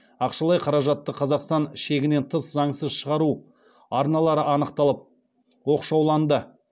ақшалай қаражатты қазақстан шегінен тыс заңсыз шығару арналары анықталып оқшауланды